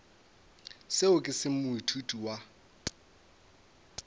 seo ke se moithuti wa